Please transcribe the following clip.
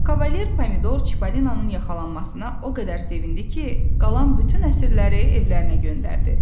Kavalier Pomidor Çipollinonun yaxalanmasına o qədər sevindi ki, qalan bütün əsirləri evlərinə göndərdi.